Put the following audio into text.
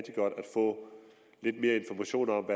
få lidt mere information om